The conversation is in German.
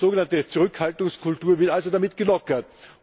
Die sogenannte Zurückhaltungskultur wird also damit gelockert.